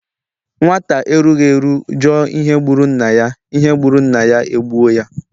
Nwata erughi eru juò ihe gburu nnaya, ihe gburu nnaya egbuò ya.